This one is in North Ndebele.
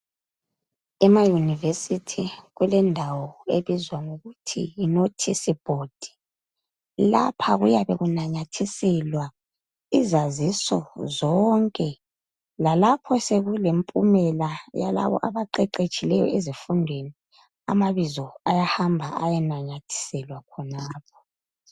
Emaunivesithi kulendawo ebizwa ngokuthi yi nothisi bhodi. Lapha kuyabe kunamathiselwa izaziso zonke lalapho sekulempumela yalabo abaqeqetshileyo ezifundweni amabizo ayahamba ayenanyathiselwa khonapho